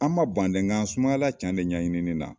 An ma ban nka sumayala can de ɲɛɲini na